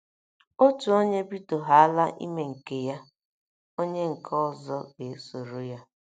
Otu onye bidohaala ime nke ya, onye nke ọzọ ga - esoro ya.